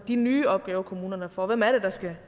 de nye opgaver kommunerne får hvem er det der skal